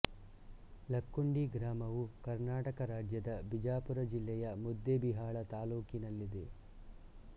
ಲಕ್ಕುಂಡಿ ಗ್ರಾಮವು ಕರ್ನಾಟಕ ರಾಜ್ಯದ ಬಿಜಾಪುರ ಜಿಲ್ಲೆಯ ಮುದ್ದೇಬಿಹಾಳ ತಾಲ್ಲೂಕಿನಲ್ಲಿದೆ